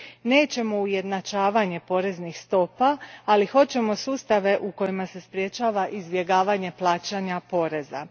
Nećemo ujednačavanje poreznih stopa, ali hoćemo sustave u kojima se sprječava izbjegavanje plaćanja poreza.